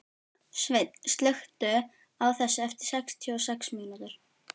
Sveinn, slökktu á þessu eftir sextíu og sex mínútur.